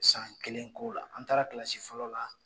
San kelen ko la an taara kisi fɔlɔ la.